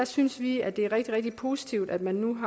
synes vi at det er rigtig rigtig positivt at man